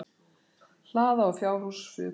Hlaða og fjárhús fuku í Kjós.